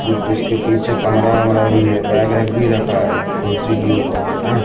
ऊ उसके पीछे कमरा वमरा भी है बैग वैग भी रखा है कुर्सी के ऊपर अं--